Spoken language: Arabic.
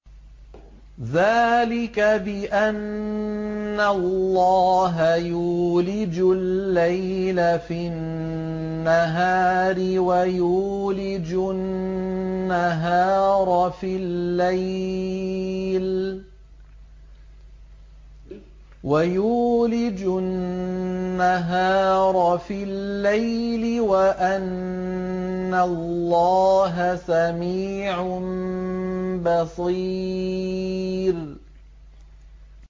ذَٰلِكَ بِأَنَّ اللَّهَ يُولِجُ اللَّيْلَ فِي النَّهَارِ وَيُولِجُ النَّهَارَ فِي اللَّيْلِ وَأَنَّ اللَّهَ سَمِيعٌ بَصِيرٌ